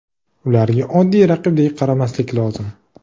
Ularga oddiy raqibdek qaramaslik lozim.